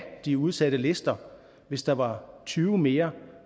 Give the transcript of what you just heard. de udsatte lister hvis der var tyve mere